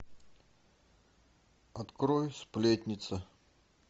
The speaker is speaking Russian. открой сплетница